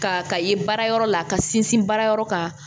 Ka ka ye baara yɔrɔ la ka sinsin baara yɔrɔ kan